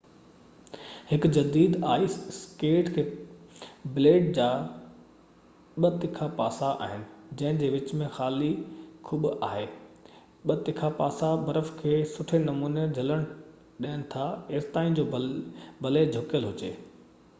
هڪ جديد ice skate تي بليڊ جا ٻہ تکا پاسا آهن جنهن جي وچ ۾ خالي کٻ آهي ٻہ تکا پاسا برف کي سٺي نموني جهلڻ ڏين ٿا ايستائين جو ڀلي جهڪيل هجي